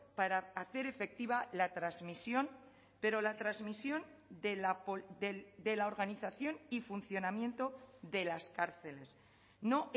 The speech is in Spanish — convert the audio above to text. para hacer efectiva la transmisión pero la transmisión de la organización y funcionamiento de las cárceles no